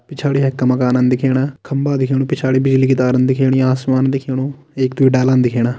पिछाड़ी हेक्का मकानन दिखेणा खम्बा दिख्येणु पिछाड़ी बिजली की तारन दिखेणी आसमान दिख्येणु एक-द्वी डालन दिखेणा।